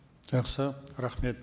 жақсы рахмет